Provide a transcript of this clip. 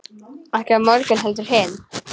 Ekki á morgun heldur hinn.